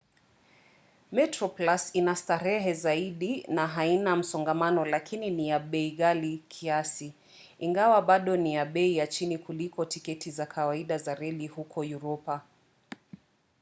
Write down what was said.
metroplus ina starehe zaidi na haina msongamano lakini ni ya bei ghali kiasi ingawa bado ni ya bei ya chini kuliko tiketi za kawaida za reli huko uropa